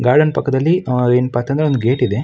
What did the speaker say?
Garden ಪಕ್ಕದಲ್ಲಿ ಏನಪ್ಪಾ ಅಂತಂದ್ರೆ ಒಂದು ಗೇಟ್ ಇದೆ.